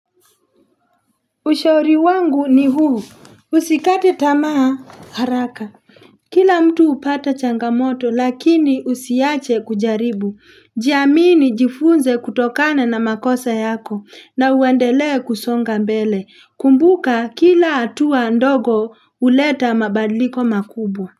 Ushauri wangu ni huu usikate tamaa haraka kila mtu hupata changamoto lakini usiache kujaribu jiamini jifunze kutokana na makosa yako na uendelee kusonga mbele kumbuka kila hatua ndogo huleta mabadiliko makubwa.